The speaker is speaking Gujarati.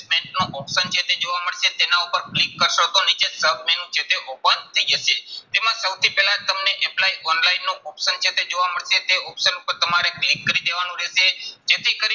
નું option જે છે જોવા મળશે. તેના ઉપર click કરશો તો નીચે sub-menu જે છે open થઇ જશે. એમાં સૌથી પહેલા તમને apply online નું option જે છે જોવા મળશે. તે option ઉપર તમારે tick કરી દેવાનું રહેશે. જેથી કરી